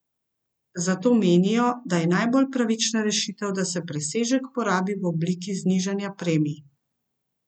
Zato menijo, da je najbolj pravična rešitev, da se presežek porabi v obliki znižanja premij.